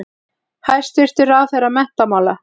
Hæstvirtur ráðherra menntamála.